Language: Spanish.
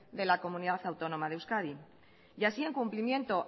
de la comunidad autónoma de euskadi y así en cumplimiento